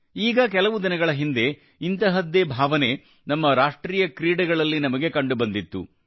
ಈಗ ಕೆಲವು ದಿನಗಳ ಹಿಂದೆ ಇಂತಹದ್ದೇ ಭಾವನೆ ನಮ್ಮ ರಾಷ್ಟ್ರೀಯ ಕ್ರೀಡೆಗಳಲ್ಲಿ ನಮಗೆ ಕಂಡುಬಂದಿತ್ತು